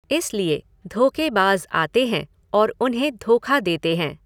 इसलिए, धोख़ेबाज़ आते हैं और उन्हें धोखा देते हैं।